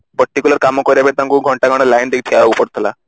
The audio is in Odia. particular କାମ ପାଇଁ ତାଙ୍କୁ ଘଣ୍ଟା ଘଣ୍ଟା line ଦେଇ ଠିଆ ହେବାକୁ ପଡୁଥିଲା